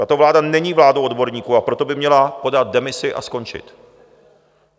Tato vláda není vládou odborníků, a proto by měla podat demisi a skončit.